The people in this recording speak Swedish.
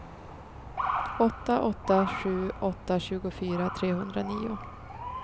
åtta åtta sju åtta tjugofyra trehundranio